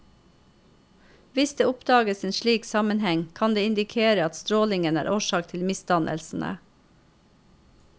Hvis det oppdages en slik sammenheng, kan det indikere at strålingen er årsak til misdannelsene.